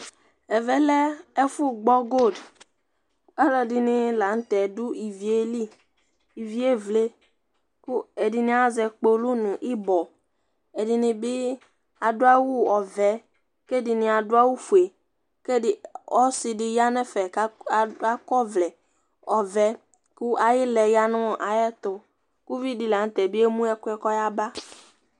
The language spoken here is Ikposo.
Ɛʋɛ lɛ ɛƒu gbɔ gold, ɔlɔdini la ŋtɛ du iʋi éli, iʋĩé ʋléku ɛdini azɛ kpolʊ nu ibɔ Ɛdini adu awʊ ɔvɛ kɛ ɛdini adu awω fũé Ósidi ƴanɛ ƒɛ kakɔ ɔvlɛ ɔvɛ ku ayilɛ yana ayɛtu ku uvidi la ŋtɛ bié mωɛ ɛkuɛ kɔ yaba